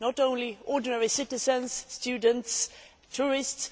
Not only ordinary citizens, students, tourists